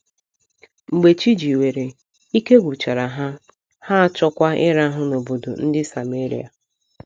Mgbe chi jiwere, ike gwụchara ha, ha achọọkwa ịrahụ n’obodo ndị Sameria.